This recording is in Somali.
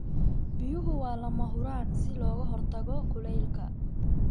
Biyuhu waa lama huraan si looga hortago kulaylka.